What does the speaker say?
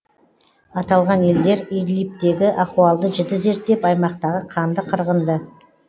аталған елдер идлибтегі ахуалды жіті зерттеп аймақтағы қанды қырғынды